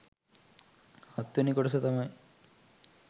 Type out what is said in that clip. හත්වෙනි කොටස තමයි